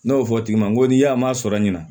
N'o fɔ o tigi ma n ko ni y'a ma sɔrɔ ɲina